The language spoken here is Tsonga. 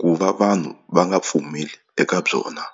ku va vanhu va nga pfumeli eka byona.